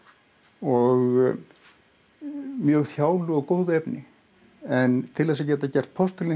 og mjög þjálu og góðu efni en til þess að geta gert postulín